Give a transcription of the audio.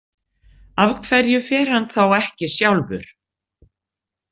Af hverju fer hann þá ekki sjálfur?